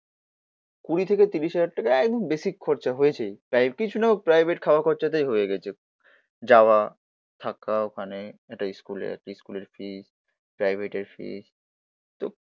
তো কুড়ি থেকে তিরিশ হাজার টাকা একদম বেসিক খরচা হয়েছেই। তাই এর পিছনেও প্রাইভেট খাওয়া খরচটাই হয়ে গেছে। যাওয়া, থাকা, ওখানে একটা স্কুলে একটা স্কুলের ফি, প্রাইভেটের ফিস